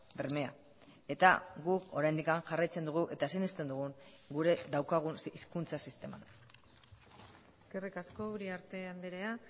bermea eta guk oraindik jarraitzen dugu eta sinesten dugun gure daukagun hizkuntza sistema eskerrik asko uriarte andrea